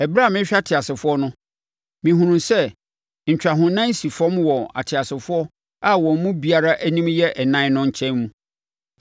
Ɛberɛ a merehwɛ ateasefoɔ no, mehunuu sɛ ntwahonan si fam wɔ ateasefoɔ a wɔn mu biara anim yɛ ɛnan no nkyɛn mu.